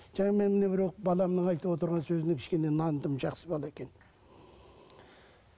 жаңа мен мына біреу баламның айтып отырған сөзіне кішкене нандым жақсы бала екен